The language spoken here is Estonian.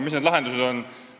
Mis need lahendused on?